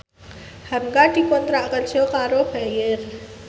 hamka dikontrak kerja karo Bayer